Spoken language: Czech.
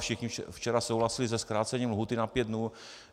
Všichni včera souhlasili se zkrácením lhůty na pět dnů.